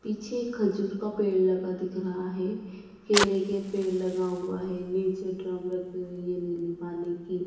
पीछे खजूर का पेड़ लगा दिख रहा है। केले के पेड़ लगा हुआ है। नीचे ड्रम रखी हुई है नीली पानी की।